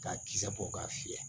K'a kisɛ bɔ k'a fiyɛ